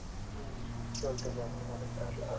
হম চলতেছে এখন ঘরে পড়াশোনা.